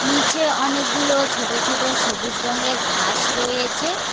নিচে অনেকগুলো ছোট ছোট সবুজ রঙের ঘাস রয়েছে।